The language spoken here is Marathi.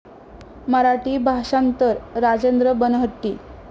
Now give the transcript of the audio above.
मराठी भाषांतर राजेंद्र बनहट्टी